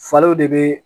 Falow de bɛ